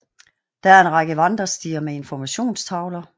Der er en række vandrestier med informationstavler